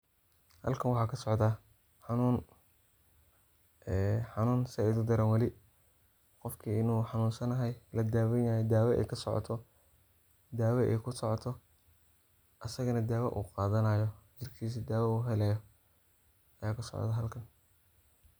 halkan waxaa kasocda xanuun ee xanuun saaid udaran weli qofki inu xanuunsanahay ladaaweynayo daawa ay kusoocoto asagana daawa uu qadanayo jirkiisa uu daawa uhelaayo. aya kasoocota meshan